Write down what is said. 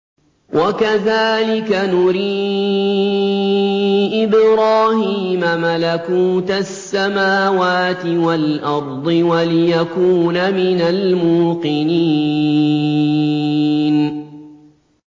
وَكَذَٰلِكَ نُرِي إِبْرَاهِيمَ مَلَكُوتَ السَّمَاوَاتِ وَالْأَرْضِ وَلِيَكُونَ مِنَ الْمُوقِنِينَ